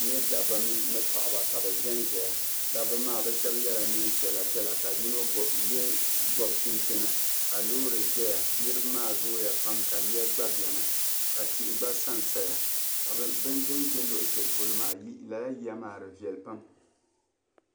N nya dabba ni paɣiba ka bɛ zanzaya. Dabba maa bɛ shɛba yɛla neem' piɛlapiɛla ka yino gɔbi chinchini ka loori zaya. Niriba maa zooya pam ka yiya gba beni ka tihi gba sansaya ka din ʒi luɣishɛli polo maa lala yiya maa di viɛli pam.